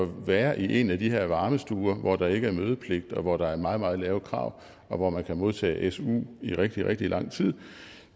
være i en af de her varmestuer hvor der ikke er mødepligt og hvor der er meget meget lave krav og hvor man kan modtage su i rigtig rigtig lang tid